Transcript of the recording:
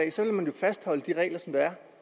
fastholde de